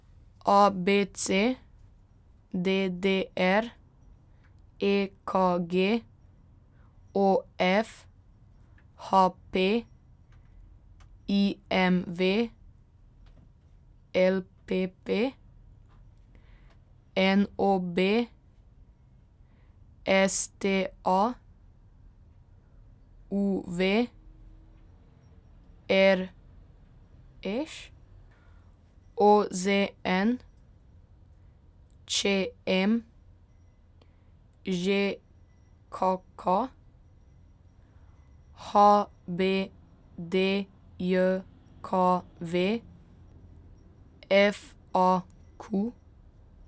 A B C; D D R; E K G; O F; H P; I M V; L P P; N O B; S T A; U V; R Š; O Z N; Č M; Ž K K; H B D J K V; F A Q.